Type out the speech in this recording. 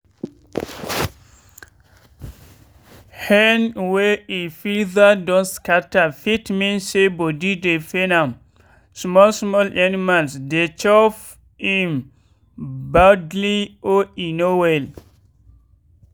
hen wey e feather don scatter fit mean say body dey pain am small small animals dey chop im badly or e no well.